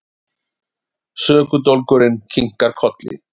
Sökudólgurinn kinkar kolli.